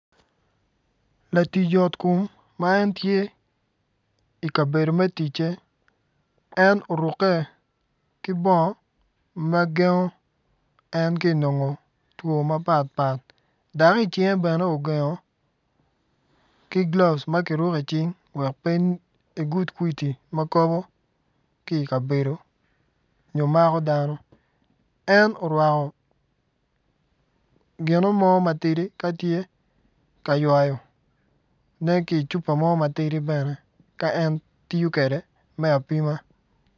Latic yot kom ma en tye i kabedo me ticce en orukke ki bongo ma gendo en ki i nongo two ma gengo en two dok i cinge bene ki gloves ma kiruko i cing wek pe egud kwidi ma kobo ki i kabedo nyo mako dano. En orwako gino mo ma tidi ka tye ka ywayone ki i cupa mo matidi bene ka en tiyo kwede me apima.